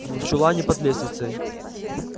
в чулане под лестницей